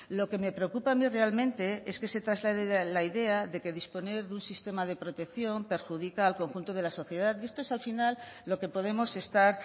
lo que me preocupa a mí realmente es que se traslade la idea de que disponer de un sistema de protección perjudica al conjunto de la sociedad y esto es al final lo que podemos estar